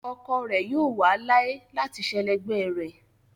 Ọkọ rẹ̀ yóò wà láé láti sẹlẹ̀gbẹ̀ rẹ̀.